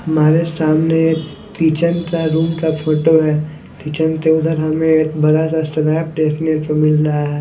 हमारे सामने एक किचन का रूम का फोटो है किचन के उधर हमें एक बड़ा सा स्लैप देखने को मिल रहा है।